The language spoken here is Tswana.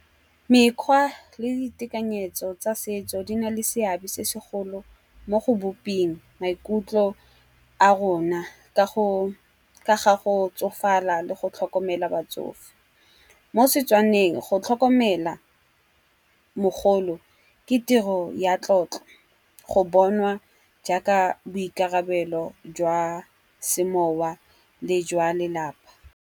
Mekgwa le ditekanyetso tsa setso di na le seabe se segolo mo go boping maikutlo a rona ka ga go tsofala le go tlhokomela batsofe. Mo setswaneng go tlhokomela mogolo ke tiro ya tlotlo go bonwa jaaka boikarabelo jwa semowa le jwa lelapa.